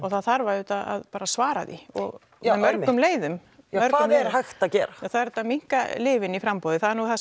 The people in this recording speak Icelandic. það þarf auðvitað bara að svara því og með mörgum leiðum hvað er hægt að gera það er hægt að minnka lyfin í framboði það